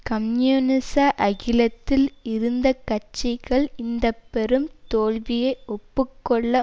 கம்யூனிச அகிலத்தில் இருந்த கட்சிகள் இந்த பெரும் தோல்வியை ஒப்பு கொள்ள